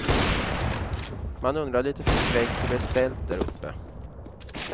Man undrar lite förskräckt hur det är ställt där uppe.